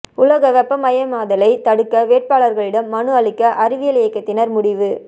உலக வெப்பமயமாதலை தடுக்க வேட்பாளர்களிடம் மனு அளிக்க அறிவியல் இயக்கத்தினர் முடிவு